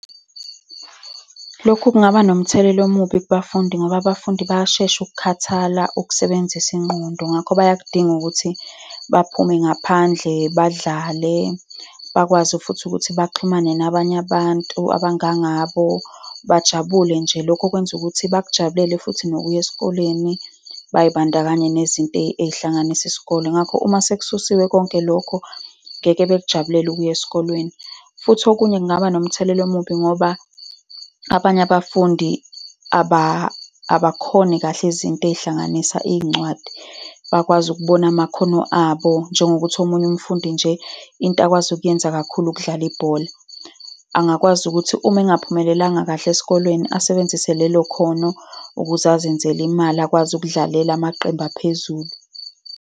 Lokhu kungaba nomthelela omubi kubafundi ngoba abafundi bayashesha ukukhathala ukusebenzisa ingqondo, ngakho bayakudinga ukuthi baphume ngaphandle, badlale, bakwazi futhi ukuthi baxhumane nabanye abantu abangangabo. Bajabule nje. Lokhu okwenza ukuthi bakujabulele futhi nokuya esikoleni bay'bandakanye nezinto ey'hlanganisa isikole. Ngakho uma sekususiwe konke lokho, ngeke bekujabulele ukuya esikoleni. Futhi okunye kungaba nomthelela omubi ngoba abanye abafundi, abakhoni kahle izinto ezihlanganisa iy'ncwadi, bakwazi ukubona amakhono abo. Njengokuthi omunye umfundi nje, into akwazi ukuyenza kakhulu ukudlala ibhola. Angakwazi ukuthi uma engaphumelelanga kahle esikoleni, asebenzise lelo khono ukuze azenzele imali, akwazi ukudlalela amaqembu aphezulu.